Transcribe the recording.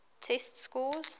test scores